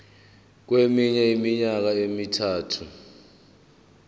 kweminye iminyaka emithathu